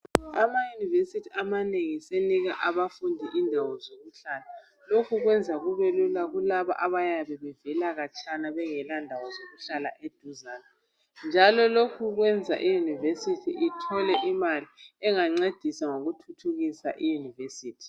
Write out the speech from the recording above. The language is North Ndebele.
ama university asenika abantwana izindawo zokuhlala lokho kuyenza kubelula kulaba abayabe bevela khatshana bengela ndawo zokuhlala eduzane njalo lokhu kuyenza i university ithole imali engancedisa ngoku phucukisa i university